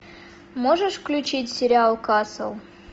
можешь включить сериал касл